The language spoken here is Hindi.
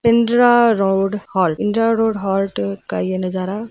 Pindra road halt Pindra road halt का ये नजारा --